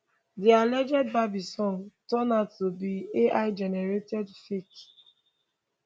di alleged bieber song turn out to be aigenerated fake